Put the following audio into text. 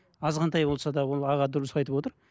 айғантай болса да ол аға дұрыс айтып отыр